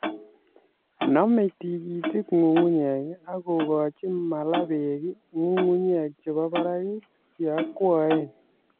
Nomei tikitik nyung'unyek akokochi mala beek nyung'unyek chebo barak che akwaen